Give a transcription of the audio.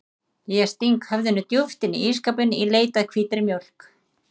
Ég sting höfðinu djúpt inn í ísskápinn í leit að hvítri mjólk.